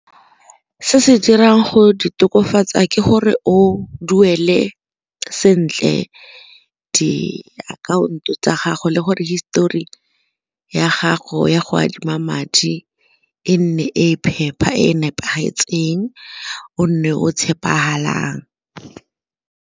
Se se dirang go di tokafatsa ke gore o duele sentle diakhaonto tsa gago le gore hisitori ya gago ya go adima madi e nne e e phepa e e nepagetseng o nne o tshepagalang.